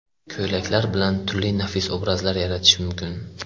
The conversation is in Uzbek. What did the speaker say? Ko‘ylaklar bilan turli nafis obrazlar yaratish mumkin.